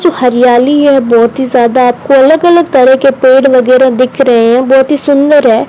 जो हरियाली है बहोत ही ज्यादा आपको अलग अलग तरह के पेड़ वगैरा दिख रहे हैं बहोत ही सुंदर है।